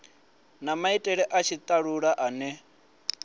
na maitele a tshitalula ane